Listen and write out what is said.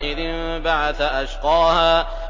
إِذِ انبَعَثَ أَشْقَاهَا